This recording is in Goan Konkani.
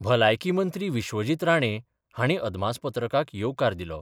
भलायकी मंत्री विश्वजीत राणे हांणी अदमासपत्रकाक येवकार दिलो.